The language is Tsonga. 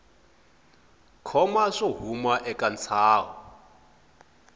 koma swo huma eka ntsaho